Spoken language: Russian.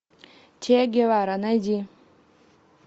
че гевара найди